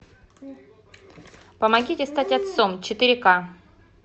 помогите стать отцом четыре ка